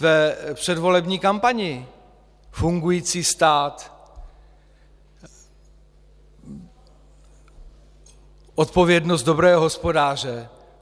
v předvolební kampani: fungující stát, odpovědnost dobrého hospodáře.